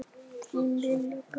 Þín Lilja Björg.